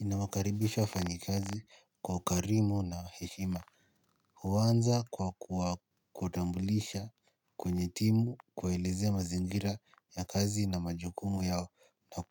Ninawakaribisha wafanyi kazi kwa ukarimu na heshima. Huanza kwa kuwatambulisha kwenye timu kuwaelezea mazingira ya kazi na majukumu yao. Na